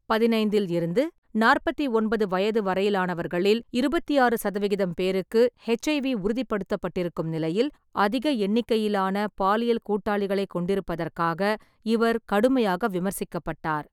பதினைந்தில் இருந்து நாற்பத்தி ஒன்பது வயது வரையிலானவர்களில் இருபத்தி ஆறு சதவிகிதம் பேருக்கு எச்.ஐ.வி. உறுதிப்படுத்தப்பட்டிருக்கும் நிலையில், ​​அதிக எண்ணிக்கையிலான பாலியல் கூட்டாளிகளைக் கொண்டிருப்பதற்காக இவர் கடுமையாக விமர்சிக்கப்பட்டார்.